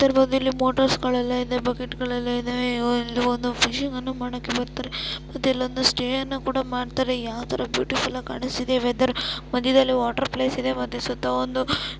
ಇದರಲ್ಲಿ ಬಂದು ಮೋಟರ್ಸ್ಗಳೆಲ್ಲ ಇದಾವೆ ಬಕೆಟ್ ಗಳೆಲ್ಲ ಇದ್ದಾವೆ ಒಂದು ಫಿಷಿಂಗ ನ್ನು ಮಾಡಕ್ಕೆ ಬರ್ತಾರೆ ಮತ್ತೆ ಒಂದು ಸ್ಟೇ ಅನ್ನು ಕೂಡ ಮಾಡ್ತಾರೆ ಯಾವತರ ಬ್ಯೂಟಿಫುಲ್ ಆಗಿ ಕಾಣ್ತಾ ಇದೆ ವೆದರ್ ಮಧ್ಯದಲ್ಲಿ ವಾಟರ್ ಪ್ಲೇಸ್ ಇದೆ ಮತ್ತೆ ಸುತ್ತ ಒಂದು--